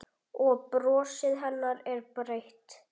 Og brosið hennar er breitt.